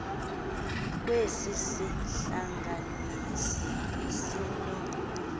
kwesi sihlanganisi sino